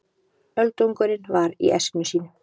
Öldungurinn var í essinu sínu.